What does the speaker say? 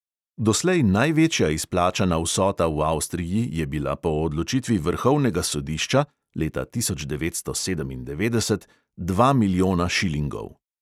Doslej največja izplačana vsota v avstriji je bila po odločitvi vrhovnega sodišča (leta tisoč devetsto sedemindevetdeset) dva milijona šilingov.